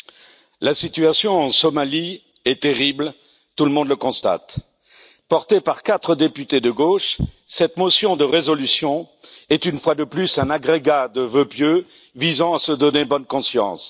Monsieur le Président, la situation en Somalie est terrible, tout le monde le constate. Portée par quatre députés de gauche, cette motion de résolution est, une fois de plus, un agrégat de vœux pieux visant à se donner bonne conscience.